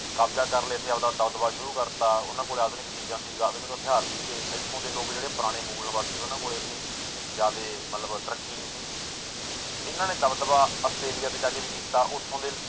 ਕਬਜ਼ਾ ਕਰ ਲਿਆ ਤੇ ਆਪਦਾ ਦਬਦਬਾ ਸ਼ੁਰੂ ਕਰ ਦਿੱਤਾ, ਉਹਨਾਂ ਕੋਲ ਆਧੁਨਿਕ ਚੀਜ਼ਾਂ ਸੀ ਆਧੁਨਿਕ ਹਥਿਆਰ ਸੀਗੇ ਇੱਥੋਂ ਦੇ ਲੋਕ ਜਿਹੜੇ ਪੁਰਾਣੇੇ ਮੂਲ ਨਿਵਾਸੀ ਸੀ ਉਹਨਾਂ ਕੋਲ ਇੰਨੀ ਜ਼ਿਆਦੇ ਮਤਲਬ ਤਰੱਕੀ ਨੀ ਸੀਗੀ ਇਹਨਾਂ ਨੇ ਦਬਦਬਾ ਆਸਟ੍ਰੇਲੀਆ ਤੇ ਜਾ ਕੇ ਵੀ ਕੀਤਾ ਉੱਥੋਂ ਦੇ